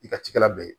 I ka cikɛla bɛ yen